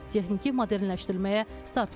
Texniki modernləşdirməyə start verildi.